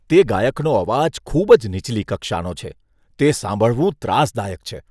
તે ગાયકનો અવાજ ખૂબ જ નીચલી કક્ષાનો છે. તે સાંભળવું ત્રાસદાયક છે.